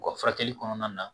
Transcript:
U ka furakɛli kɔnɔna na